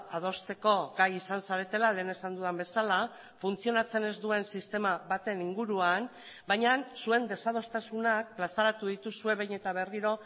adosteko gai izan zaretela lehen esan dudan bezala funtzionatzen ez duen sistema baten inguruan baina zuen desadostasunak plazaratu dituzue behin eta berriro